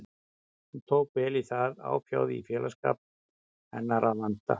Hún tók vel í það, áfjáð í félagsskap hennar að vanda.